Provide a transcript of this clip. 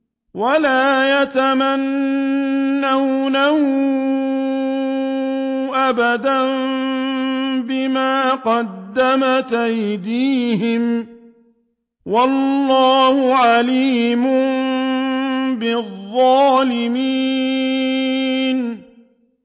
وَلَا يَتَمَنَّوْنَهُ أَبَدًا بِمَا قَدَّمَتْ أَيْدِيهِمْ ۚ وَاللَّهُ عَلِيمٌ بِالظَّالِمِينَ